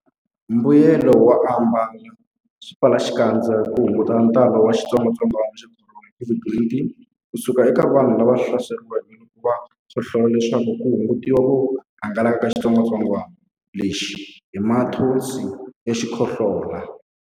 Mbuyelonkulu wo ambala swipfalaxikandza i ku hunguta ntalo wa xitsongwantsongwana xa Khorona, COVID-19, ku suka eka vanhu lava hlaseriweke loko va khohlola leswaku ku hungutiwa ku hangalaka ka xitsongwantsongwana lexi hi mathonsi ya xikhohlola.